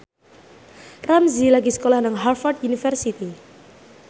Ramzy lagi sekolah nang Harvard university